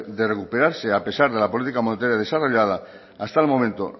de recuperarse a pesar de la política monetaria desarrollada hasta el momento